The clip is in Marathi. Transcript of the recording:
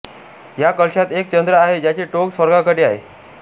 या कलशात एक चंद्र आहे ज्याचे टोक स्वर्गाकडे आहे